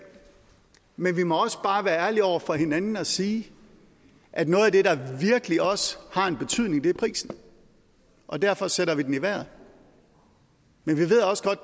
men vi må også bare være ærlige over for hinanden og sige at noget af det der virkelig også har en betydning er prisen og derfor sætter vi den i vejret men vi ved også godt